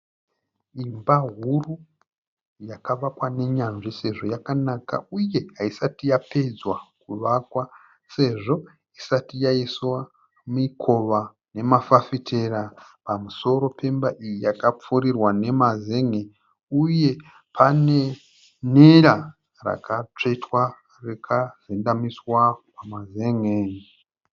Imba huru yakavakwa nenyanzvi sezvo yakanaka uye haisati yapedzwa kuvakwa sezvo isati yaiswa mikova nemafafitera. Pamusoro pemba iyi yakapfurirwa nemazen'e uye pane nera rakatsvetwa rakazendamiswa pamazen'e.